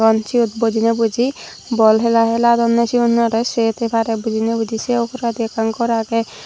ei siyot bojiney boji bol hila hiladonney siyunorey sei tei parey bujiney buji sei uguredi ekkan gor agey.